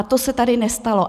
A to se tady nestalo.